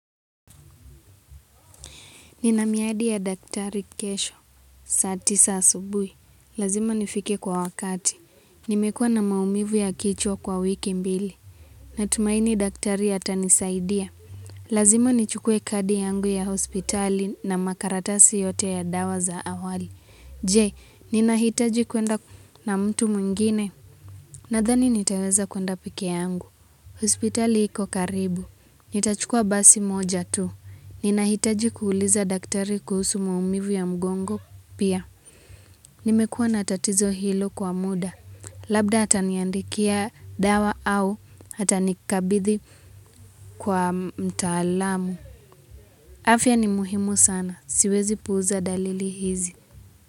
Ninamiadi ya daktari kesho, saa tisa asubui. Lazima nifike kwa wakati. Nimekua na maumivu ya kichwa kwa wiki mbili. Natumaini daktari atanisaidia. Lazima nichukue kadi yangu ya hospitali na makaratasi yote ya dawa za awali. Je, ninahitaji kwenda na mtu mwngine. Nadhani nitaweza kuenda peke yangu. Hospitali iko karibu. Nitachukua basi moja tu. Ni nahitaji kuuliza daktari kuhusu maumivu ya mgongo pia. Nimekuwa na tatizo hilo kwa muda. Labda ataniandikia dawa au atanikabidhi kwa mtaalamu. Afya ni muhimu sana. Siwezi puuza dalili hizi.